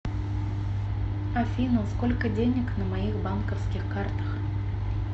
афина сколько денег на моих банковских картах